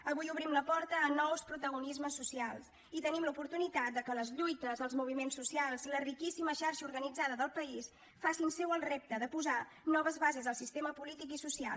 avui obrim la porta a nous protagonismes socials i tenim l’oportunitat que les lluites els moviments socials la riquíssima xarxa organitzada del país facin seu el repte de posar noves bases al sistema polític i social